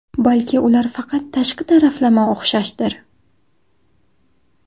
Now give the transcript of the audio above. Balki ular faqat tashqi taraflama o‘xshashdir?